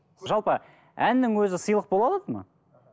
жалпы әннің өзі сыйлық бола алады ма